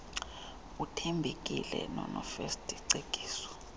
uthembekile nonofirst cekiso